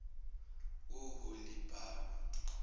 oholibhama